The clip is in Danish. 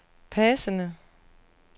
passende